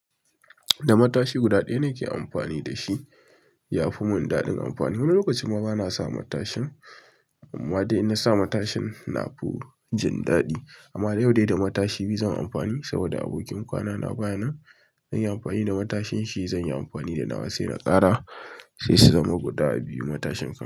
Da matashi guda ɗaya nake amfani da shi. Ya fi mun daɗin amfani, wani lokaci ma bana sa matashin. Amma dai ina na sa matashin na fi jin daɗi amma yau dai da matashi biyu zan yi amfani saboda abokin kwana na baya nan. Zan yi amfani da matashin shi, zan yi amfani da nawa sai na ƙara sai su zama guda biyu matashin kan.